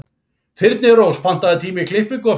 Þyrnirós, pantaðu tíma í klippingu á fimmtudaginn.